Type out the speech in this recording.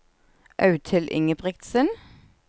Audhild Ingebrigtsen